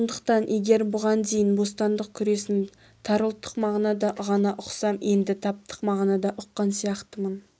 сондықтан егер бұған дейін бостандық күресін тар ұлттық мағынада ғана ұқсам енді таптық мағынада ұққан сияқтымын